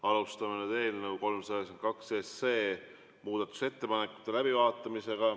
Alustame eelnõu 392 muudatusettepanekute läbivaatamist.